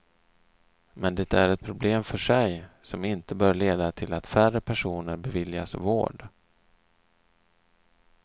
Men det är ett problem för sig, som inte bör leda till att färre personer beviljas vård.